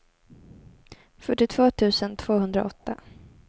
fyrtiotvå tusen tvåhundraåtta